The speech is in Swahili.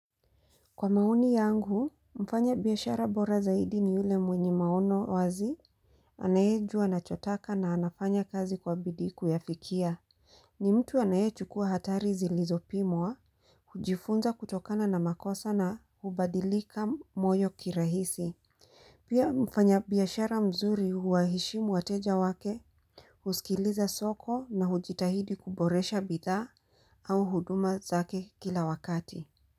Kwa maoni yangu, mfanyabiashara bora zaidi ni yule mwenye maono wazi, anayejua anachotaka na anafanya kazi kwa bidii kuyafikia. Ni mtu anayechukuwa hatari zilizopimwa, hujifunza kutokana na makosa na hubadilika moyo kirahisi. Pia mfanya biashara mzuri huwaheshimu wateja wake, huskiliza soko na hujitahidi kuboresha bidha au huduma zake kila wakati.